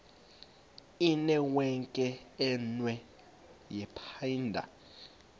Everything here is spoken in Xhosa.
inewenkwe umnwe yaphinda